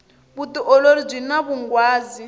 vutiolori byini vunghwazi